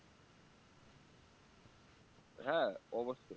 হ্যাঁ অবশ্যই